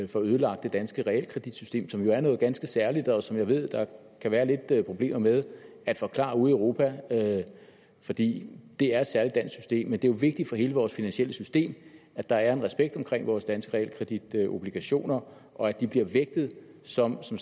får ødelagt det danske realkreditsystem som jo er noget ganske særligt og som jeg ved at der kan være lidt problemer med at forklare ude i europa fordi det er et særligt dansk system men det er jo vigtigt for hele vores finansielle system at der er en respekt om vores danske realkreditobligationer og at de bliver vægtet som som